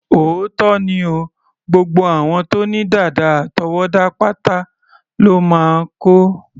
Òótọ́ ni o, gbogbo àwọn tó ní dàdà àtọwọ́dá pátá lọ́ máa kó.